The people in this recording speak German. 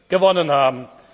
gewonnen haben.